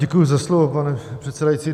Děkuji za slovo, pane předsedající.